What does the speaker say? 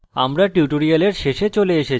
আমরা tutorial শেষে চলে এসেছি